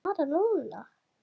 Fara núna?